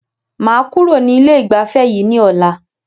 Màá kúrò ní ilé ìgbafẹ́ yìí ní ọ̀la.